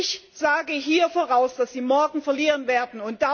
Ich sage hier voraus, dass Sie morgen verlieren werden!